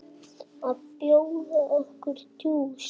Má bjóða okkur djús?